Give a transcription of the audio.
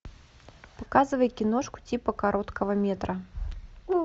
показывай киношку типа короткого метра